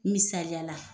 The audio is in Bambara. Misaliya la